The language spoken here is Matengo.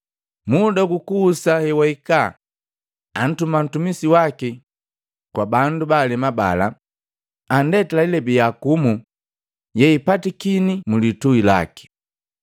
Muda hukuhusa hewahikaa, antuma ntumi waki kwa bandu baalema bala, andetila ilebi yaakumu yeipatikini mulituhi laki.